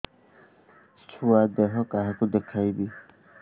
ଛୁଆ ଦେହ କାହାକୁ ଦେଖେଇବି